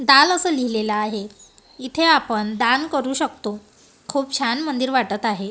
दान असे लिहिलेलं आहे इथे आपण दान करू शकतो खूप छान मंदिर वाटत आहे.